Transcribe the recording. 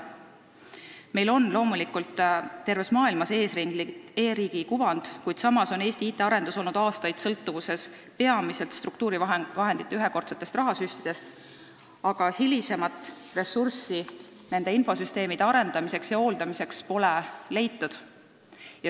Meil on terves maailmas eesrindliku e-riigi kuvand, kuid samas on Eesti IT-arendus olnud aastaid sõltuvuses peamiselt struktuurivahendite ühekordsetest rahasüstidest, aga hilisemat ressurssi nende infosüsteemide arendamiseks ja hooldamiseks pole leitud.